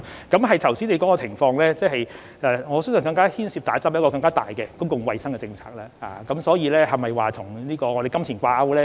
剛才你說的情況，我相信接種疫苗牽涉一個更大的公共衞生政策，所以，是否與金錢掛鈎呢？